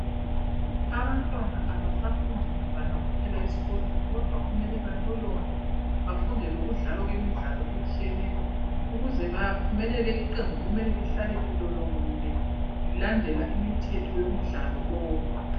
Abantwana abasafundi mabala kuphela esikolweni kodwa kumele balolonge bafunde lokudlawa kwemidlalo etshiyeneyo. Ukuze baphumelele iqembu kumele lihlale lilolongile lilandela imithetho yomdlalo lowu.